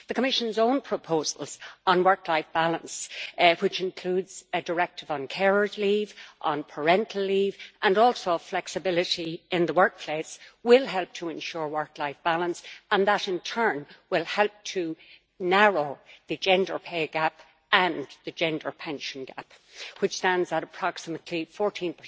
The Commission's own proposals on work life balance, which include a directive on carers' leave, on parental leave, and also on flexibility in the workplace, will help to ensure work life balance, and that in turn will help to narrow the gender pay gap and the gender pension gap, which stand at approximately 14